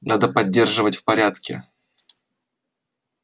надо поддерживать в порядке